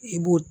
I b'o